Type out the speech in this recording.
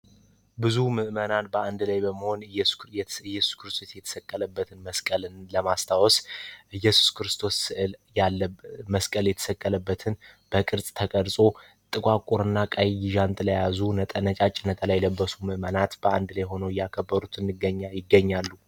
ብዙ ምእመናን በአንድ ላይ በመሆን ኢየሱስ ክርስቶስ የተሰቀለበትን መስቀልን ለማስታወስ ኢየሱስ ክርስቶስ ስዕል ለመስቀል የተሰቀለበትን በቅርጽ ተቀርጾ ጥቋቁር እና ነጫጭ ዣንጥላ የያያዙ ነጫጭ ነጠላ የለበሱ ምእመናት በአንድ ላይሆኖ እያከበሩት ይገኛሉ።